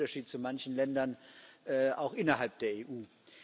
Das ist der Unterschied zu manchen Ländern auch innerhalb der EU.